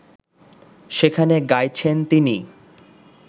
সেখানে গাইছেন তিনি